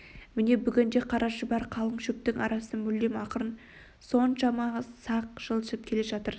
міне бүгін де қара шұбар қалың шөптің арасымен мүлде ақырын соншама сақ жылжып келе жатыр